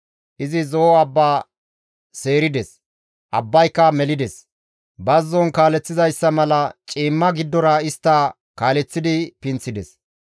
Izi Zo7o abba seerides; abbayka melides; bazzon kaaleththizayssa mala ciimma giddora istta kaaleththidi pinththides.